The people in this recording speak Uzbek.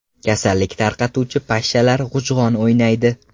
Kasallik tarqatuvchi pashshalar g‘ujg‘on o‘ynaydi.